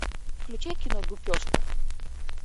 включай кино гупешка